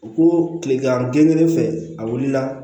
U ko kilegan genen fɛ a wulila